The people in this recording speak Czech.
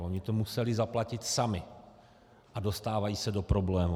Oni to museli zaplatit sami a dostávají se do problémů.